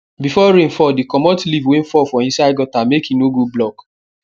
before rain fall dey commot leaf wey fall for inside gutter make e no go block